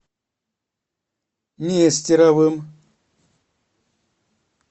нестеровым